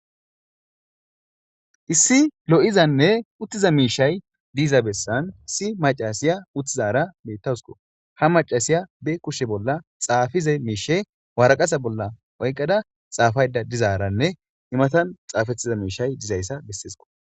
issi lo7izanne uttiza miishay diiza bessan si macasiya uttizara bettawusko ha macasiya be kushshe bolla xaafize miishe waraqasa bolla oyqqada xaafayda dizaaranne imatan xaafettiza miishay dizayssa bessesiko